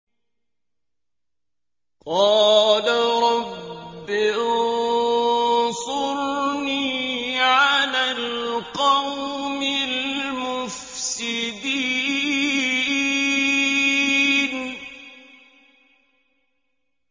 قَالَ رَبِّ انصُرْنِي عَلَى الْقَوْمِ الْمُفْسِدِينَ